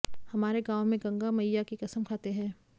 हमारे गांव में गंगा मइया की कसम खाते हैं